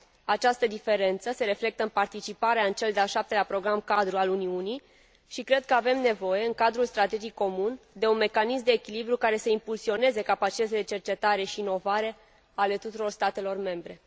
Această diferență se reflectă în participarea în cel de al 7 lea Program cadru al Uniunii și cred că avem nevoie în Cadrul strategic comun de un mecanism de echilibru care să impulsioneze capacitățile de cercetare și inovare ale tuturor statelor membre.